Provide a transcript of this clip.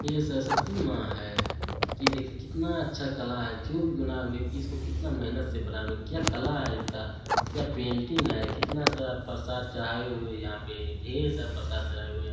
ये सरस्वती माँ है। ये देखिए कितना अच्छा कला है जो भी बनाया है इसको कितनी मेहनत से बनाया है। क्या कला है इसका क्या पेंटिंग है कितना सारा प्रसाद चढ़ाए हुए है यहाँ पे ढेर सारा प्रसाद चढ़ाए हुए है।